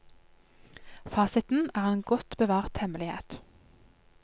Fasiten er en godt bevart hemmelighet.